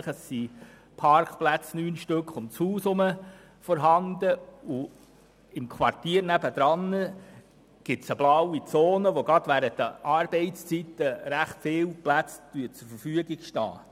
Rund um das Haus sind neun Parkplätze vorhanden, und im anliegenden Quartier gibt es eine blaue Zone, sodass gerade während der Arbeitszeiten ziemlich viele Plätze zur Verfügung stehen.